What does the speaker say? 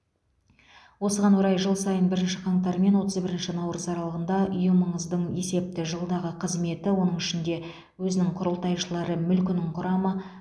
осыған орай жыл сайын бірінші қаңтар мен отыз бірінші наурыз аралығында ұйымыңыздың есепті жылдағы қызметі оның ішінде өзінің құрылтайшылары мүлкінің құрамы